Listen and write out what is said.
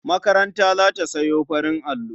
Makaranta za ta sayo farin allo.